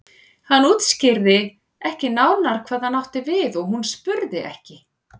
Hann útskýrði ekki nánar hvað hann átti við og hún spurði ekki.